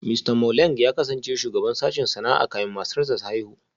Mista Mwaleng ya kasance shugaban sashen sana'a kafin matarsa ​​ta haihu